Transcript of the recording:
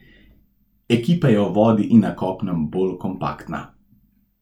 Ekipa je v vodi in na kopnem bolj kompaktna.